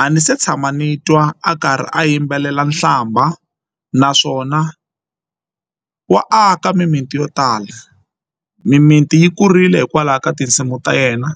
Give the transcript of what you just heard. a ni se tshama ni twa a ka karhi a yimbelela nhlamba naswona wa aka mimiti yo tala mimiti yi kurile hikwalaho ka tinsimu ta yena.